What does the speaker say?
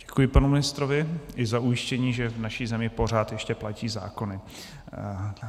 Děkuji panu ministrovi i za ujištění, že v naší zemi pořád ještě platí zákony.